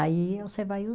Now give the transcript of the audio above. Aí você vai